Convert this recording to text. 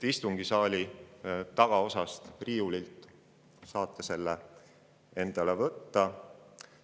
Istungisaali tagaosast riiulilt saate selle endale võtta.